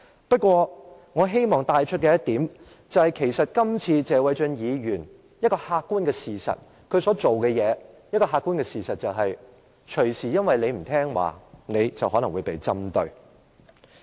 不過，我希望帶出一點，就是謝偉俊議員今次所做的，造成了一個客觀事實，就是議員隨時可能因為不聽話而被針對。